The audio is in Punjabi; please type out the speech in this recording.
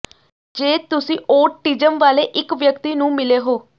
ਜੇ ਤੁਸੀਂ ਔਟਿਜ਼ਮ ਵਾਲੇ ਇੱਕ ਵਿਅਕਤੀ ਨੂੰ ਮਿਲੇ ਹੋ